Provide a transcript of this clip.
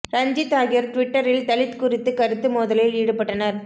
ரஞ்சித் ஆகியோர் ட்விட்டரில் தலித் குறித்து கருத்து மோதலில் ஈடுபட்டனர்